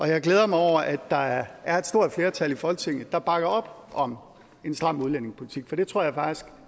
jeg glæder mig over at der er er et stort flertal i folketinget der bakker op om en stram udlændingepolitik for det tror jeg faktisk